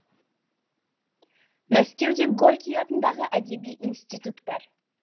мәскеуде горький атындағы әдеби институт бар